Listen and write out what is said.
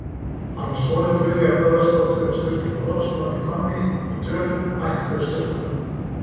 Hann var sonur Guðnýjar Böðvarsdóttur og Sturlu Þórðarsonar í Hvammi í Dölum, ættföður Sturlunga.